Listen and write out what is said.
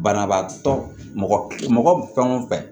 Banabaatɔ mɔgɔ mɔgɔ fɛn o fɛn